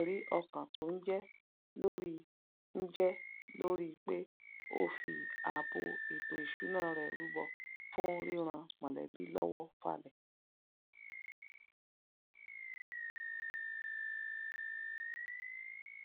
ẹrí ọkàn tó n jẹ lori n jẹ lori pe ofi ààbò ètò ìṣúná rẹ rúbọ fún ríran mọlébí lówó falẹ